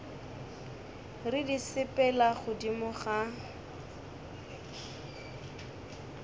re di sepela godimo ga